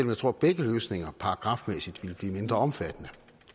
jeg tror begge løsninger paragrafmæssigt ville blive mindre omfattende